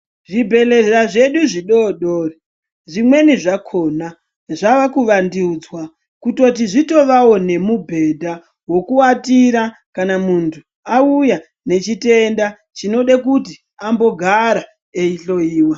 Zvibhedhlera zvedu zvidodori, zvimweni zvakhona zvaakuvandudzwa kutoti zvitovawo nemubhedha wekuwatira kana muntu auya nechitenda chinode kuti ambogara eihloyiwa.